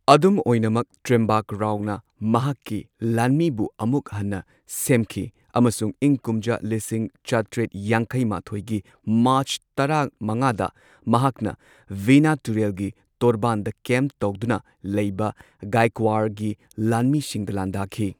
ꯑꯗꯨꯝ ꯑꯣꯏꯅꯃꯛ ꯇ꯭ꯔꯤꯝꯕꯛꯔꯥꯎꯅ ꯃꯍꯥꯛꯀꯤ ꯂꯥꯟꯃꯤꯕꯨ ꯑꯃꯨꯛ ꯍꯟꯅ ꯁꯦꯝꯈꯤ ꯑꯃꯁꯨꯡ ꯏꯪ ꯀꯨꯝꯖꯥ ꯂꯤꯁꯤꯡ ꯆꯥꯇ꯭ꯔꯦꯠ ꯌꯥꯡꯈꯩ ꯃꯥꯊꯣꯏꯒꯤ ꯃꯥꯔꯆ ꯇꯔꯥ ꯃꯉꯥꯗ ꯃꯍꯥꯛꯅ ꯚꯦꯟꯅꯥ ꯇꯨꯔꯦꯜꯒꯤ ꯇꯣꯔꯕꯥꯟꯗ ꯀꯦꯝꯞ ꯇꯧꯗꯨꯅ ꯂꯩꯕ ꯒꯥꯏꯛꯋꯥꯔꯒꯤ ꯂꯥꯟꯃꯤꯁꯤꯡꯗ ꯂꯥꯟꯗꯥꯈꯤ꯫